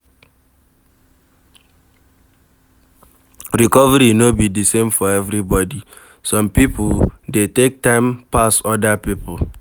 Recovery no be di same for everybody, some pipo dey take time pas oda pipo